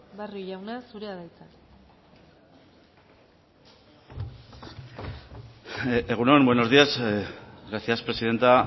barrio jauna zurea da hitza egun on buenos días gracias presidenta